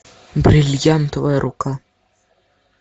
бриллиантовая рука